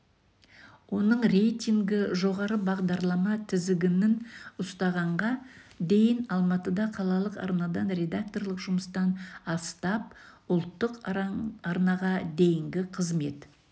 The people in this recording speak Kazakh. оның рейтингі жоғары бағдаралма тізігінін ұстағанға дейін алматыда қалалық арнадан редакторлық жұмыстан астап ұлттық аранға дейнігі қызмет